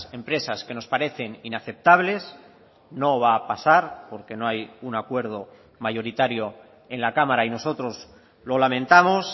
empresas que nos parecen inaceptables no va a pasar porque no hay un acuerdo mayoritario en la cámara y nosotros lo lamentamos